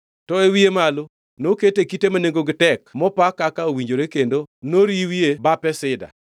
To e wiye malo nokete kite ma nengogi tek mopa kaka owinjore kendo noriwie bape sida.